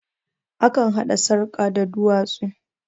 Akan haɗa sarkan da duwatsu